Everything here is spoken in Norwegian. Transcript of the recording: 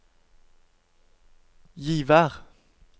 Givær